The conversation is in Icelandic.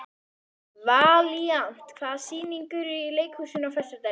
Valíant, hvaða sýningar eru í leikhúsinu á föstudaginn?